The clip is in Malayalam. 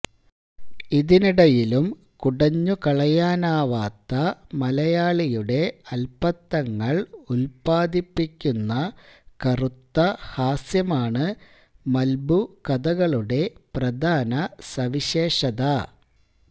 ഇതിനിടയിലും കുടഞ്ഞുകളയാനാവാത്ത മലയാളിയുടെ അല്പത്തങ്ങള് ഉല്പാദിപ്പിക്കുന്ന കറുത്ത ഹാസ്യമാണ് മല്ബുകഥകളുടെ പ്രധാന സവിശേഷത